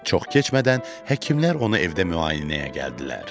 Çox keçmədən həkimlər onu evdə müayinəyə gəldilər.